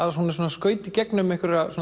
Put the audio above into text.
skauta gegnum